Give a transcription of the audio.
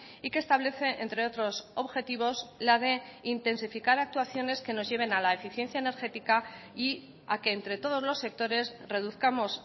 y que establece entre otros objetivos la de intensificar actuaciones que nos lleven a la eficiencia energética y a que entre todos los sectores reduzcamos